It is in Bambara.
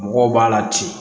Mɔgɔw b'a la ten